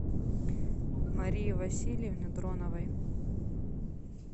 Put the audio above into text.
марии васильевне дроновой